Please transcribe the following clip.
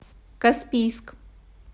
каспийск